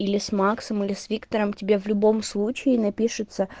или с максом или с виктором тебе в любом случае напишется